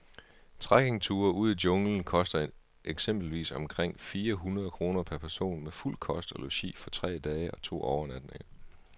Trekkingture ud i junglen koster eksempelvis omkring fire hundrede kroner per person med fuld kost og logi for tre dage og to overnatninger.